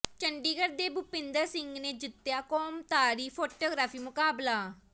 ਚੰਡੀਗੜ੍ਹ ਦੇ ਭੁਪਿੰਦਰ ਸਿੰਘ ਨੇ ਜਿੱਤਿਆ ਕੌਮਾਂਤਰੀ ਫ਼ੋਟੋਗ੍ਰਾਫ਼ੀ ਮੁਕਾਬਲਾ